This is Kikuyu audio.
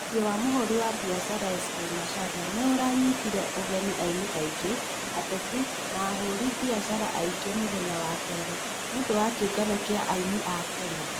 Mũciĩ wa mũhuri wa biacara S.K Macharia nĩ ũ ra nyitire ugeni aini aingĩ, ateti na ahũri biacara angĩ mũthenya wa Keri, nĩ ũndũ wa kĩũngano kĩa aini a Kenya.